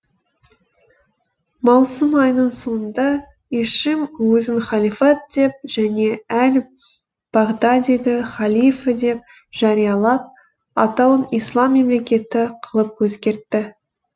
маусым айының соңында ишим өзін халифат деп және әл бағдадиді халифа деп жариялап атауын ислам мемлекеті қылып өзгертті